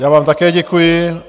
Já vám také děkuji.